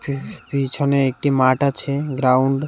পিছ-পিছনে একটি মাঠ আছে গ্রাউন্ড ।